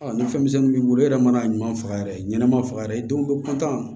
nafa misɛnnin b'i bolo e yɛrɛ mana ɲuman faga yɛrɛ ɲɛnɛma faga yɛrɛ i denw bɛ pan